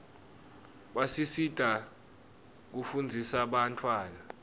basisita kufunzisa bantfwana